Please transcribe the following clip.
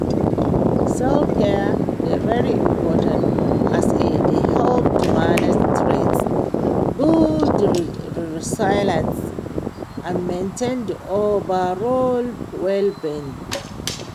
self-care dey very important as e dey help to manage stress, build di resilience and maintain di overall well-being.